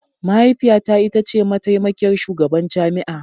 Mahaifiyata ita ce mataimakiyar shugaban jami'a